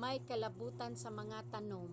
may kalabutan sa mga tanom